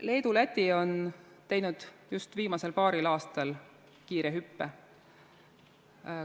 Leedu ja Läti on teinud just viimasel paaril aastal kiire hüppe.